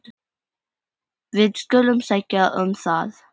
Við skulum sækja um það.